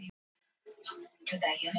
hvað þýða stafirnir og plús og mínusmerkin